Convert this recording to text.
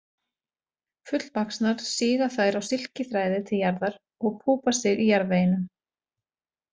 Fullvaxnar síga þær á silkiþræði til jarðar og púpa sig í jarðveginum.